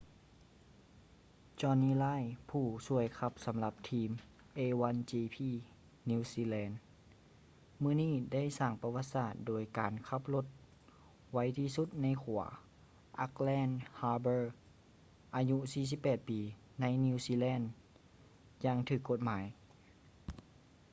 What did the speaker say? jonny reid ຜູ້ຊ່ວຍຂັບສຳລັບທີມ a1gp new zealand ມື້ນີ້ໄດ້ສ້າງປະຫວັດສາດໂດຍການຂັບລົດໄວທີ່ສຸດໃນຂົວ auckland harbourອາຍຸ 48 ປີ ໃນ new zealand ຢ່າງຖືກກົດໝາຍ